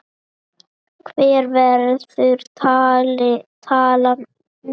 Hver verður talan nú?